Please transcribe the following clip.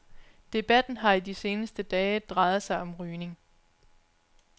Debatten har i de seneste dage drejet sig om rygning.